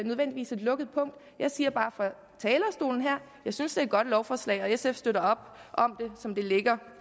nødvendigvis et lukket punkt jeg siger bare fra at jeg synes det er et godt lovforslag og sf støtter op om det som det ligger